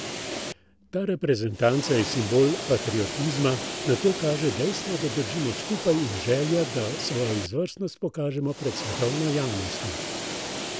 Ta reprezentanca je simbol patriotizma, na to kaže dejstvo, da držimo skupaj in želja, da svojo izvrstnost pokažemo pred svetovno javnostjo.